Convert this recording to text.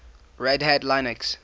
red hat linux